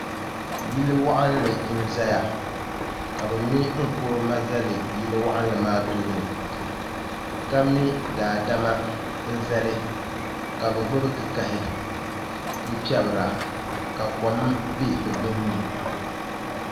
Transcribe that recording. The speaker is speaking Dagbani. Yili waɣinli n ʒɛya ka bi mɛ nkuruma zali yili waɣinli maa tooni ka mɛ daadama n zalika bi gbubi kikahi n piɛbira ka kom bɛ di gbunni